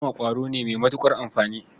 Zuma ƙwaro ne mai matuƙar amfani.